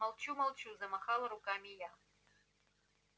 молчу молчу замахала руками я